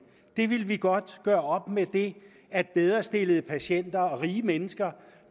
vi ville godt gøre op med det at bedrestillede patienter og rige mennesker